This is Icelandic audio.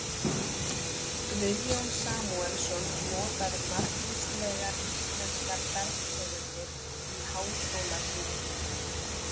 Guðjón Samúelsson notaði margvíslegar íslenskar bergtegundir í háskólabyggingunni.